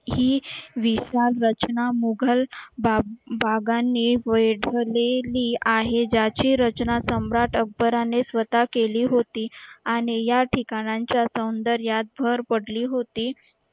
ही विशाल रचना मुघल बागांनी आहे ज्याची रचना सम्राट अकबराने स्वता केली होती आणि या ठिकाणांच्या सौंदर्यात भर पडली होती